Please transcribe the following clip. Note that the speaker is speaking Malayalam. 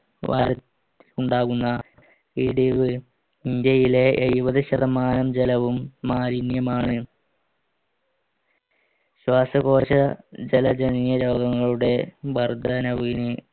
ഉണ്ടാകുന്ന ഇടിവ് ഇന്ത്യയിലെ എഴുപത് ശതമാനം ജലവും മാലിന്യമാണ് ശ്വാസകോശ ജല ജനകീയ രോഗങ്ങളുടെ വർദ്ധനവിന്